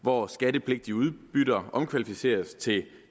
hvor skattepligtige udbytter omkvalificeres til